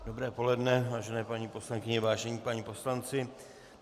Dobré poledne, vážené paní poslankyně, vážení páni poslanci.